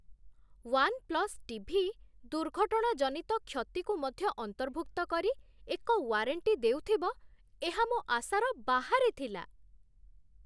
One plus TV' ଦୁର୍ଘଟଣାଜନିତ କ୍ଷତିକୁ ମଧ୍ୟ ଅନ୍ତର୍ଭୁକ୍ତ କରି ଏକ ୱାରେଣ୍ଟି ଦେଉଥିବ, ଏହା ମୋ ଆଶାର ବାହାରେ ଥିଲା।